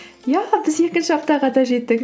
иә біз екінші аптаға да жеттік